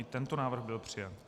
I tento návrh byl přijat.